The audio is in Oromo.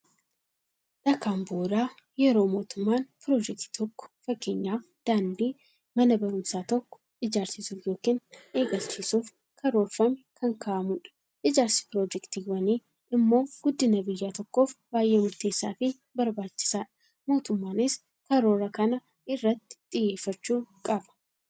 Dhakaan bu'uuraa, yeroo mootummaan piroojektii tokka fakkeenyaf daandii, Mana baruumsaa tokko ijaarsisuuf yookiin eegalchiisuf karaoorfame kan kaa'amuudha. Ijaarsi piroojektiiwwanii immoo guddina biyya tokkoof baay'ee murteessaafi barbaachisaadha. Mootummaanis karoora kana irratti xiyyeeffachuu qaba.